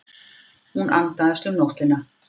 Hún andaðist um nóttina.